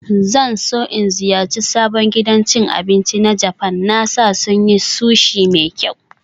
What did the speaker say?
Zan so in ziyarci sabon gidan cin abinci na Japan, na sa sun yi Sushi mai kyau